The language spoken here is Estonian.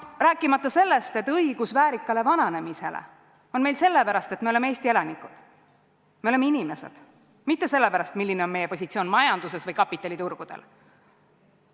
Rääkimata sellest, et õigus väärikale vananemisele on meil selle pärast, et me oleme Eesti elanikud, me oleme inimesed, mitte selle pärast, milline on meie positsioon majanduses või kapitaliturgudel.